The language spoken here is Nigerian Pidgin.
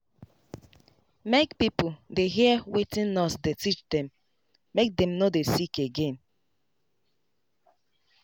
make pipo dey hear wetin nurse dey teach dem make dem no dey sick.